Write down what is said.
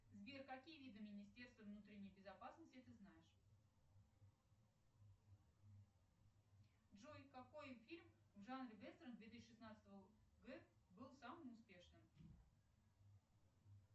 сбер какие виды министерства внутренней безопасности ты знаешь джой какой фильм в фанре вестерна две тысячи шестнадцатого г был самым успешным